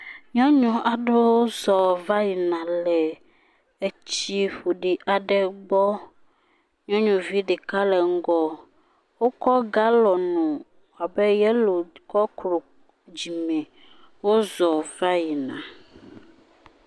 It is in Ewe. Nyɔnu aɖewo zɔ̃ va yina le tsi ƒoɖi aɖe gbɔ. Nyɔnuvi ɖeka le ŋgɔ. Wokɔ galɔŋ abe yelo kɔ ku dzime wozɔ̃ va yi na.